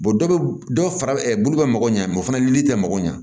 dɔ bɛ dɔ fara bulu bɛ mago ɲɛ o fana tɛ mako ɲɛ